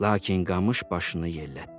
Lakin qamış başını yellətdi.